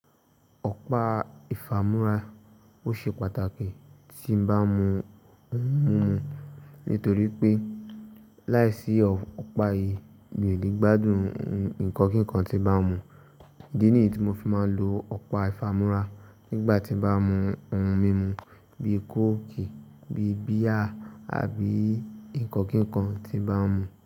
Ọ̀pá ìfámúrá, ó ṣe pàtàkì tí bá ń mu ohun mímu nítorí pé láìsí ọ̀pá yìí mi ò lè gbádùn ǹkan kankan tí bá mú. Id nì tí mo fi máa ń lo ọ̀pá ìfámúrá nígbà tí bá mú ohun mímu bi kóòkì, bíi bíà àbí ǹkan kíkan tí bá mú.